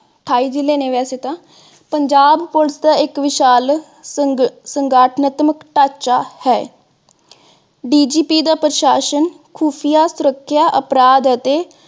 ਅਠਾਈ ਜਿਲੇ ਨੇ ਵੈਸੇ ਤਾਂ। ਪੰਜਾਬ police ਦਾ ਇਕ ਵਿਸ਼ਾਲ ਸੰਘਾਤਮਕ ਢਾਂਚਾ ਹੈ। DGP ਦਾ ਪ੍ਰਸ਼ਾਸਨ ਖੂਫੀਆ, ਸੁਰੱਖਿਆ, ਅਪਰਾਧ ਅਤੇ